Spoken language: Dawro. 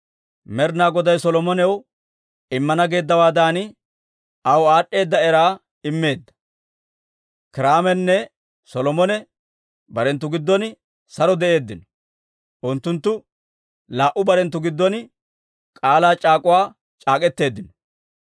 Med'inaa Goday Solomonaw immana geeddawaadan, aw aad'd'eeda era immeedda. Kiiraamenne Solomone barenttu giddon saro de'eeddino; unttunttu laa"u barenttu giddon k'aalaa c'aak'uwaa c'aak'k'eteeddino.